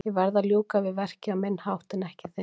Ég verð að ljúka við verkið á minn hátt en ekki þinn.